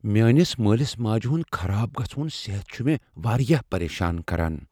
میٲنِس مٲلِس ماجہِ ہٗند خراب گھژھوٗن صحت چھٗ مے٘ وارِیاہ پریشان كران ۔۔